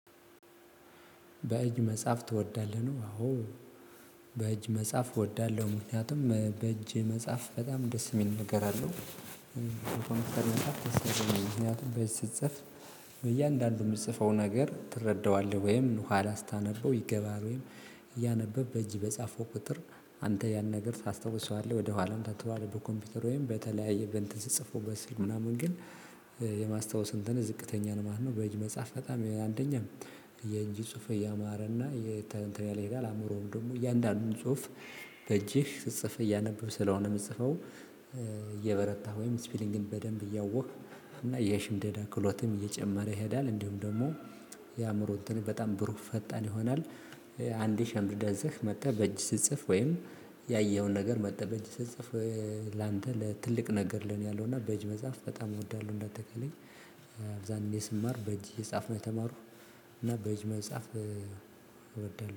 በእጅ መጽሐፍ ትወዳለህ ነው? አዎ በእጅ መጽሐፍ እወዳለሁ ምክንያቱም በእጅ መጻፍ በጣም ደስ የሚል ነገር አለው። በኮንፊደንስ ምክንያቱም በእጅ ሲጻፍ። በእያንዳንዱ የምትጽፈው ነገር ትረዳዋለህ ወይም ኋላ ስታነበው ይገበሀል። ወይም እያነበብክ በእጅ በጻፈው ቁጥር አንተ ያን ነገር ታስታውሰዋለህ ወደ ኋላም ታትባልብህ። በኮምፒውተር ወይም በተለያየ በእንትን ስትጽፈው በስልክ ምናምን ግን የማስታወስ እንትን ዝቅተኛ ነው ማለት ነው። በእጅ መጻፍ በጣም የአንደኛም የእጅ ጽሁፍ እያማረና እንት እያለ ኣእምሮህ ደሞ እያንዳንዱ ጽሁፍ። በእጅህ ስትጽፍ እያነበብክ ስለ ሆነ ምትጽፈው እ እየበረታህ ወይ እስፔሊንግህን በደንብ እያወክ የሽምደዳ ክህለትህም እየጨመረ ይሄዳል። የአእምሮ እንትን በጣም ብሩህ ፈጣን ይሆናል። ያ አንዴ ሸምድደህ መጣህ በእጅህ ስትጽፍ ወይም ያየኸውን ነገር መጠህ በእጅ ስትጽፍ። ላንተ ለትልቅ ነገር ለኔ ያለው እና በእጅ መጽሐፍ በጣም እወዳለሁ። እንደተከለኝ ስማር በእጅ የጻፍነው ተማሩ። እና በእጅ መጽሐፍ እወዳለሁ